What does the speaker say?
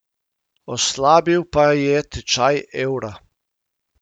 Oslabil pa je tečaj evra.